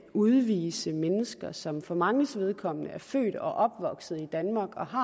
udvise mennesker som for manges vedkommende er født og opvokset i danmark og har